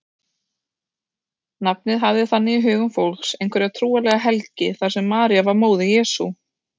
Nafnið hafði þannig í hugum fólks einhverja trúarlega helgi þar sem María var móðir Jesú.